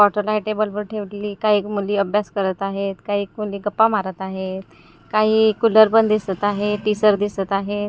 Bottle आहे टेबलवर ठेवलेली काही मुली अभ्यास करत आहेत काही मुली गप्पा मारत आहेत काही कुलर पण दिसत आहे टीसर दिसत आहेत.